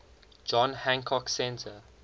john hancock center